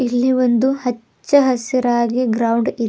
ಇಲ್ಲಿ ಒಂದು ಹಚ್ಚ ಹಸಿರಾಗಿ ಗ್ರೌಂಡ್ ಇ--